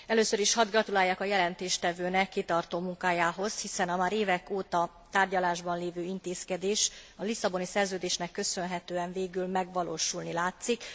Először is hadd gratuláljak a jelentéstevőnek kitartó munkájához, hiszen a már évek óta tárgyalásban lévő intézkedés a Lisszaboni Szerződésnek köszönhetően végül megvalósulni látszik.